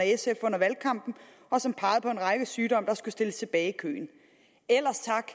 sf under valgkampen og som pegede på en række sygdomme der skulle stilles tilbage i køen ellers tak